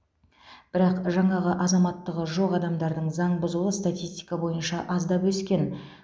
бірақ жаңағы азаматтығы жоқ адамдардың заң бұзуы статистика бойынша аздап өскен